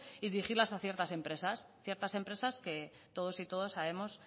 y dirigirlas a ciertas empresas ciertas empresas que todos y todas sabemos